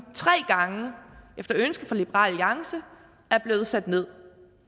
tre gange efter ønske fra liberal alliance er blevet sat ned